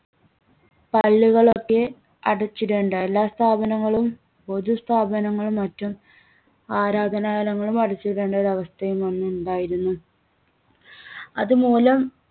പള്ളികളൊക്കെ അടച്ചിടേണ്ട എല്ലാ സ്ഥാപനങ്ങളും പൊതുസ്ഥാപനങ്ങളും മറ്റും ആരാധനാലയങ്ങളും അടച്ചിടേണ്ട ഒരവസ്ഥയും അന്നുണ്ടായിരുന്നു. അത് മൂലം